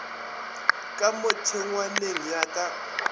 ka mo tšhengwaneng ya ka